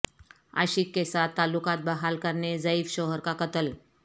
عاشق کے ساتھ تعلقات بحال کرنے ضعیف شوہر کا قتل